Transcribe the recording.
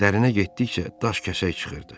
Dərinə getdikcə daş-kəsək çıxırdı.